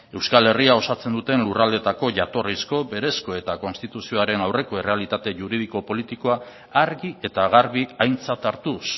euskal herria osatzen duten lurraldeetako jatorrizko berezko eta konstituzioaren aurreko errealitate juridiko politikoa argi eta garbi aintzat hartuz